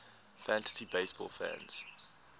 fantasy baseball fans